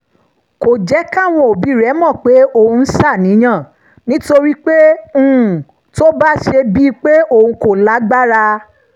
kò jẹ́ káwọn òbí rẹ̀ mọ̀ pé òun ń ṣàníyàn nítorí pé um tó bá ṣe bíi pé òun kò lágbára